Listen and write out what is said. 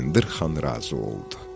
Bayındır xan razı oldu.